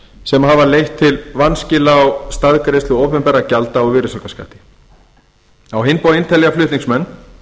sem hafa leitt til vanskila á staðgreiðslu opinberra gjalda og virðisaukaskatti á hinn bóginn telja flutningsmenn